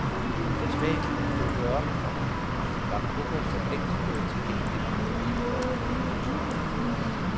Da spanierne dukkede op, komma var coca for længst blevet tilgængelig for hele folket. punktum